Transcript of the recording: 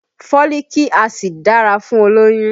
Foliiki Acid dára fún olóyún